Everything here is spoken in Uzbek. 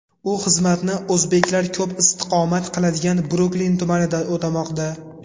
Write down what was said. U xizmatni o‘zbeklar ko‘p istiqomat qiladigan Bruklin tumanida o‘tamoqda.